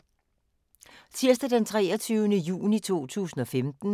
Tirsdag d. 23. juni 2015